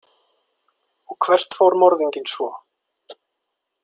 Og hvert fór morðinginn svo?